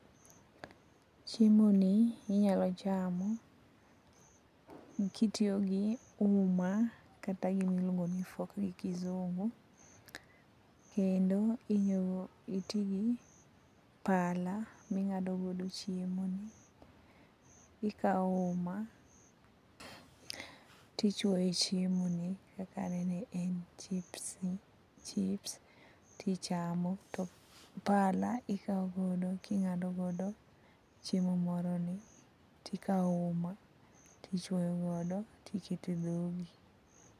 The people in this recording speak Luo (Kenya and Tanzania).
Chiemoni inyalo chamo kitiyo gi uma kata gima iluongo ni fork gi kisungu. Kendo itiyo gi pala ming'ado godo chiemoni, ikawo uma to ichuoyo e chiemoni kaka aneno en chips, to pala ing'ado godo chiemo moroni to ikawo uma, to ichuoyo godo to iketo e dhogi.